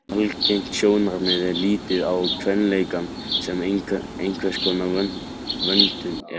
Algengt sjónarmið er að líta á kvenleikann sem einhverskonar vöntun eða skort.